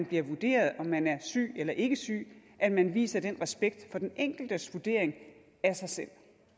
bliver vurderet om man er syg eller ikke syg at man viser den respekt for den enkeltes vurdering af sig selv